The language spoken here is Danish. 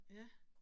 Ja